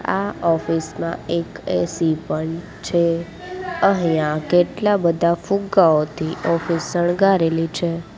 આ ઑફિસ માં એક એ_સી પણ છે અહીંયા કેટલા બધા ફુગ્ગાઓથી ઑફિસ શણગારેલી છે.